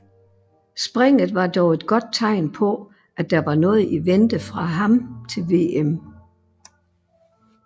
Springet var dog et godt tegn på at der var noget i vente fra ham til VM